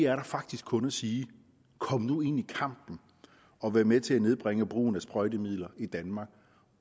er der faktisk kun at sige kom nu ind i kampen og vær med til at nedbringe brugen af sprøjtemidler i danmark